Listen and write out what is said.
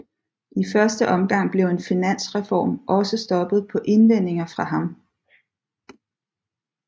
I første omgang blev en finansreform også stoppet på indvendinger fra ham